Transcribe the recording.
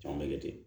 Caman bɛ kɛ ten